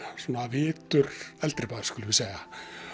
svona vitur eldri maður skulum við segja